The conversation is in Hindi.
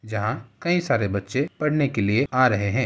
जहाँ कई सारे बच्चे पढ़ने के लिए आ रहै है।